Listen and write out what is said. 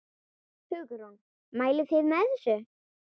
Hugrún: Mælið þið með þessu?